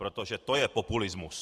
Protože to je populismus.